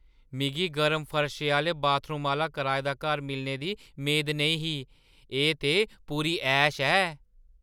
मिगी गरम फर्शै आह्‌ले बाथरूम आह्‌ला कराए दा घर मिलने दी मेद नेईं ही - एह् ते पूरी ऐश ऐ!